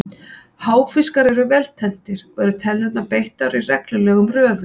Háfiskar eru vel tenntir og eru tennurnar beittar og í reglulegum röðum.